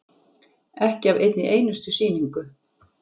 Ekki af einni einustu sýningu.